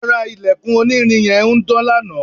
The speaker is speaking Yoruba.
ara ilẹ̀kùn onírin yẹn ń dán lanaa